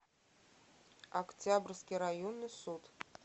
октябрьский районный суд